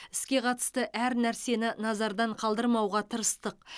іске қатысты әр нәрсені назардан қалдырмауға тырыстық